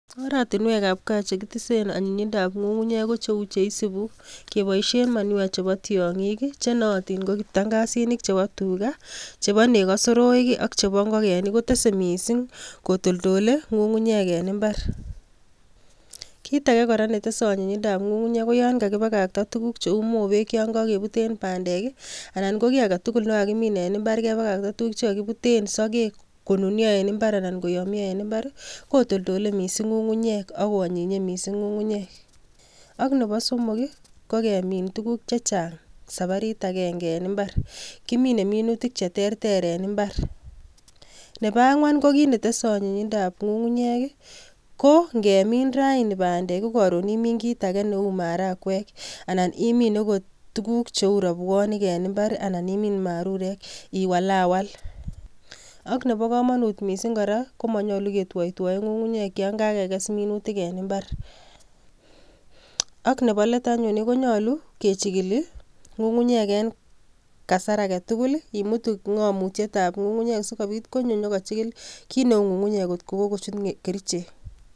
Oratinwekab gaa chekitesen anyinyindab ngungunyek kocheu cheisibuu, keboishen manures chebo tiongiik chenooton, ko kiptangasinik chebo tugaa, chebo nekoo soroik ak chebo ngokenik kotese missing kotoltole ngungunyek en imbaar. Kitage kora netese anyinyindab ngungunyek I koyan kakibakakta tuguuk cheu mobeek,